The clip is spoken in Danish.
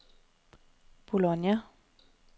Bologna